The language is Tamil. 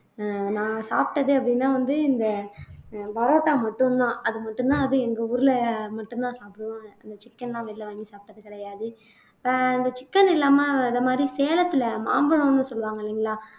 அஹ் நான் சாப்பிட்டது அப்படீன்னா வந்து இந்த அஹ் parotta மட்டும்தான் அது மட்டும்தான் அது எங்க ஊர்ல மட்டும்தான் சாப்பிடுவோம் அந்த chicken எல்லாம் வெளியில வாங்கி சாப்பிட்டது கிடையாது அஹ் இந்த chicken இல்லாம இந்த மாதிரி சேலத்துல மாம்பழம்ன்னு சொல்லுவாங்க இல்லைங்களா